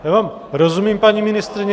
Já vám rozumím, paní ministryně.